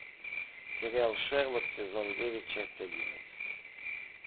сериал шерлок сезон девять часть одиннадцать